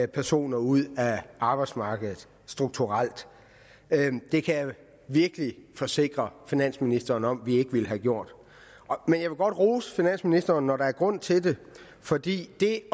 personer ud af arbejdsmarkedet strukturelt det kan jeg virkelig forsikre finansministeren om at vi ikke ville have gjort men jeg vil godt rose finansministeren når der er grund til det fordi det